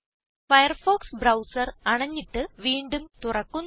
Firefox browser അണഞ്ഞിട്ട് വീണ്ടും തുറക്കുന്നു